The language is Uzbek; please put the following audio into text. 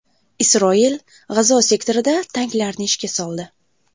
Isroil G‘azo sektorida tanklarni ishga soldi.